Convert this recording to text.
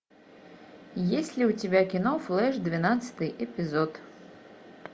есть ли у тебя кино флэш двенадцатый эпизод